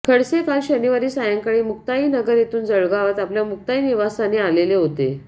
खडसे काल शनिवारी सायंकाळी मुक्ताईनगर येथून जळगावात आपल्या मुक्ताई निवासस्थानी आलेले होते